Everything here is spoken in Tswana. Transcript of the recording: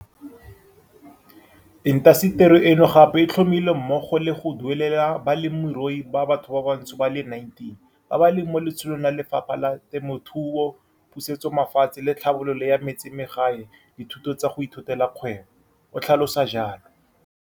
Intaseteri eno gape e tlhomile mmogo le go duelelela ba lemirui ba bathobantsho ba le 19 ba ba leng mo letsholong la Lefapha la Temothuo, Pusetsomafatshe le Tlhabololo ya Metsemagae dithuto tsa go ithutela kgwebo, o tlhalosa jalo.